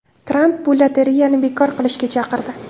Tramp bu lotereyani bekor qilishga chaqirdi.